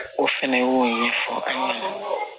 O fɛnɛ y'o ɲɛfɔ an ɲɛna